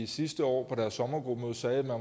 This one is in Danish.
sidste år på deres sommergruppemøde sagde at man